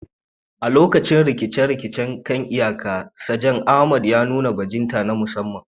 A lokacin rikicin kan iyaka, Sajan Ahmed ya nuna bajinta na musamman.